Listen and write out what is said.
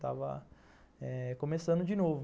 Estava começando de novo.